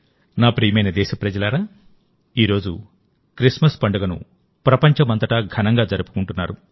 నా ప్రియమైన దేశప్రజలారాఈరోజు క్రిస్మస్ పండుగను ప్రపంచమంతటా ఘనంగా జరుపుకుంటున్నారు